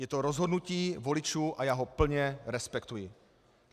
Je to rozhodnutí voličů a já ho plně respektuji.